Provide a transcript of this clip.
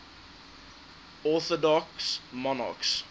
orthodox monarchs